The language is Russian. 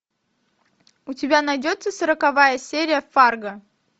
у тебя найдется сороковая серия фарго